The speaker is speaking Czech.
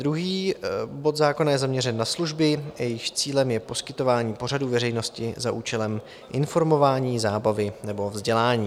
Druhý bod zákona je zaměřen na služby, jejichž cílem je poskytování pořadů veřejnosti za účelem informování, zábavy nebo vzdělání.